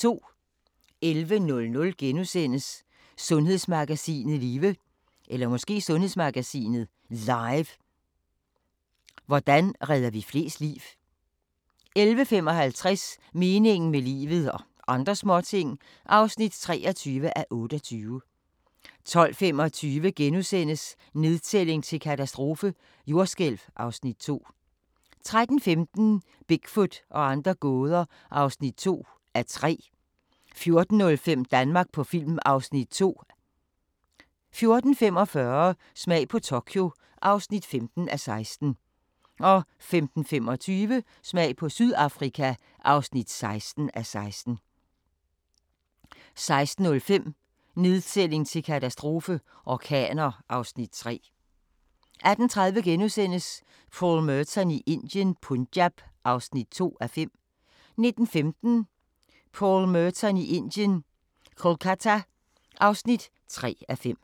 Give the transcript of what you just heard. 11:00: Sundhedsmagasinet Live – hvordan redder vi flest liv? * 11:55: Meningen med livet – og andre småting (23:28) 12:25: Nedtælling til katastrofe – jordskælv (Afs. 2)* 13:15: Bigfoot og andre gåder (2:3) 14:05: Danmark på film (Afs. 2) 14:45: Smag på Tokyo (15:16) 15:25: Smag på Sydafrika (16:16) 16:05: Nedtælling til katastrofe – orkaner (Afs. 3) 18:30: Paul Merton i Indien - Punjab (2:5)* 19:15: Paul Merton i Indien – Kolkata (3:5)